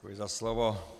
Děkuji za slovo.